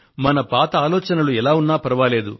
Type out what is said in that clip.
మన పాత ఆలోచనలు ఎలా ఉన్నా ఫర్వాలేదు